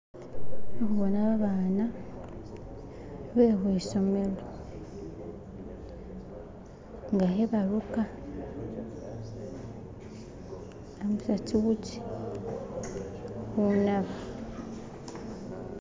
Indikhuboona abaana bekhwisomelo nga khebaruka khebarambisa tsiuzi khunaba